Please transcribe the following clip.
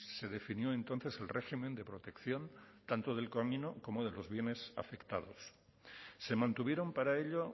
se definió entonces el régimen de protección tanto del camino como de los bienes afectados se mantuvieron para ello